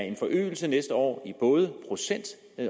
en forøgelse næste år i både procent